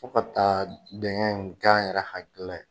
Fo ka taa dengɛ kɛ an yɛrɛ hakili la ye.